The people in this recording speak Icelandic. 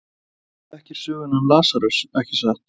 Þú þekkir söguna um Lasarus, ekki satt?